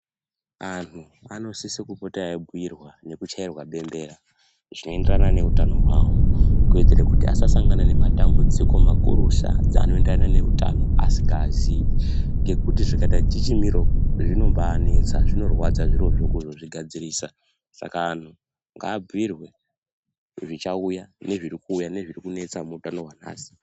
Anhu anosisa kupota eyibhuyirwa nekuchairwe bembera zvinoenderana neutano hwawo kuitire kuti asasangana nematambudziko makurusa dzanondana neutano asingaziyi ngekuti zvikaita tichimiro, zvinombanetsa zvinorwadza zvirozvo kuzozvigadzirisa. Saka anhu ngaabhuyirwe zvichauya nezviri kuuya nezviri kunetsa muutano hwanhasi.